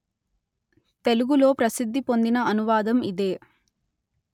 తెలుగులో ప్రసిద్ధి పొందిన అనువాదం ఇదే